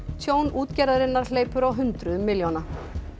tjón útgerðarinnar hleypur á hundruðum milljóna